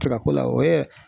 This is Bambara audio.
Tika ko la, o ye